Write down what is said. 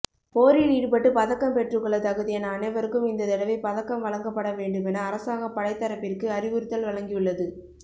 போரில் ஈடுபட்டு பதக்கம் பெற்றுக்கொள்ளத் தகுதியான அனைவருககும் இந்த தடவை பதக்கம் வழங்கப்பட வேண்டுமென அரசாங்கம் படைத்தரப்பிற்கு அறிவுறுத்தல் வழங்கியுள்ளது